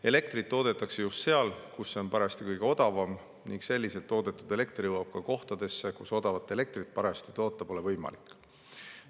Elektrit toodetakse just seal, kus on parajasti kõige odavam, ning selliselt toodetud elekter jõuab ka kohtadesse, kus odavat elektrit parajasti toota pole võimalik.